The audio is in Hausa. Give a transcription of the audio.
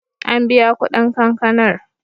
An biya kuɗin kankanar.